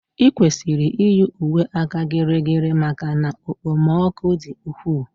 I kwesịrị iyi uwe áka gịrịgịrị maka na okpomọkụ di ukwu